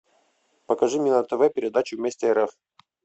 покажи мне на тв передачу вместе рф